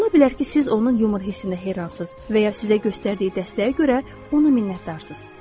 Ola bilər ki, siz onun yumor hissinə heyranızsız və ya sizə göstərdiyi dəstəyə görə ona minnətdarsız.